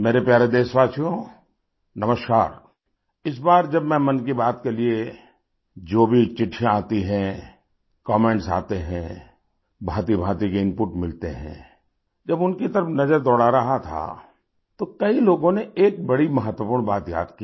मेरे प्यारे देशवासियो नमस्कार इस बार जब मैंमन की बात के लिए जो भी चिट्ठियाँ आती हैं कमेंट्स आते हैं भाँतिभाँति के इनपुट मिलते हैं जब उनकी तरफ नज़र दौड़ा रहा था तो कई लोगों ने एक बड़ी महत्वपूर्ण बात याद की